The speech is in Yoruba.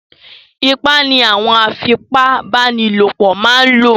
Ipá ni àwọn afipa bánilòpọ̀ máa ń lò